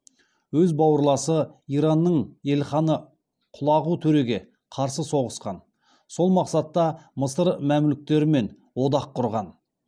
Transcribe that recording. өз бауырласы иранның елханы құлағу төреге қарсы соғысқан сол мақсатта мысыр мәмлүктерімен одақ құрған